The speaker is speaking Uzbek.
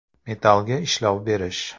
Metal ga ishlov berish .